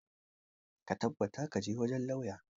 Ka tabbata ka je wajen lauyan!